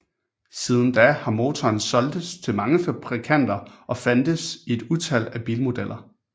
Siden da har motoren solgtes til mange fabrikanter og fandtes i et utal af bilmodeller